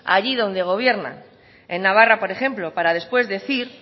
allí donde gobierna en navarra por ejemplo para después decir